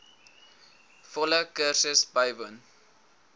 volle kursus bywoon